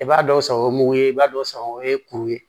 I b'a dɔw sago o ye mugu ye i b'a dɔw san o ye kuru ye